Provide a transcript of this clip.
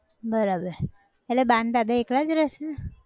બરાબર, એટલે બા ન દાદા એકલા જ રેહ છ